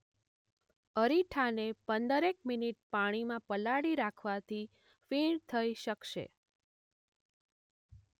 અરીઠાને પંદરેક મિનિટ પાણીમાં પલાળી રાખવાથી ફીણ થઈ શકશે.